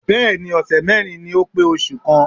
Bẹ́ẹ̀ni ọ̀sẹ̀ mẹ́rin ni ó pé oṣù kan.